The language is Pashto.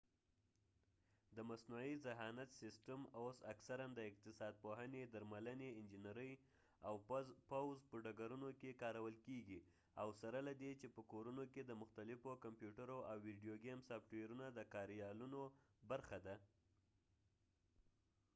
د مصنوعي ذهانت سسټم اوس اکثراً د اقتصاد پوهنې درملنې انجنیرۍ او پوځ په ډګرونو کې کارول کیږي او سره له دې چې په کورونو کې د مختلفو کمپیوټرو او ویډیو ګېم سافټوېرونو د کاریالونو برخه ده